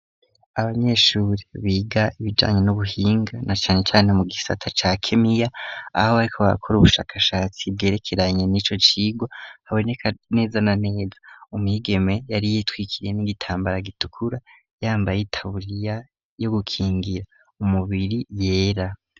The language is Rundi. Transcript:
abanyeshuri biga ibijanye n'ubuhinga na Cane Cane mu gisata cya kemiya aho bariko bakora ubushakashatsi bwerekeranye n'ico cirwa haboneka neza naneza umwigeme yari yitwikiriye n'igitambara gitukura yambaye itaburiya yo gukingira umubiri yera.